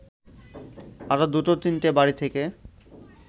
আরও দুটো তিনটে বাড়ি থেকে